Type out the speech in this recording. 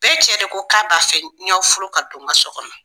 Bɛɛ cɛ de ko k'a b'a fɛ n ɲ'aw furu ka don n ka so kɔnɔ.